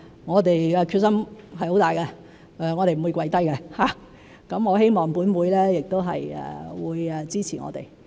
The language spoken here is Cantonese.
我們的決心很大，我們不會放棄，我希望本會亦會支持我們。